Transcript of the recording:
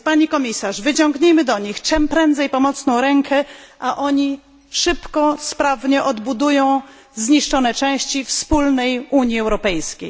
Pani Komisarz, wyciągnijmy do nich czym prędzej pomocną rękę, a oni szybko i sprawnie odbudują zniszczone części wspólnej Unii Europejskiej.